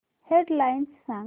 head lines सांग